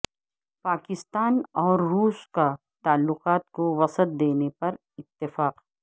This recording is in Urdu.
پاکستان اور روس کا تعلقات کو وسعت دینے پر اتفاق